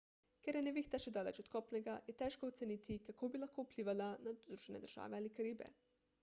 ker je nevihta še daleč od kopnega je težko oceniti kako bi lahko vplivala na združene države ali karibe